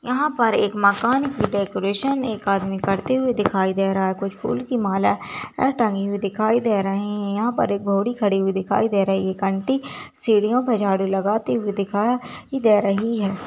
यहाँ पर एक मकान की डेकोरेशन एक आदमी करते हुए दिखाई दे रहा है कुछ फूल की माल टंगी हुई दिखाई दे रही है यहाँ पर एक घोड़ी खड़ी हुई दिखाई दे रही है एक आंटी सीढ़ियों पे झाड़ू लगाती हुई दिखाई दे रही है ।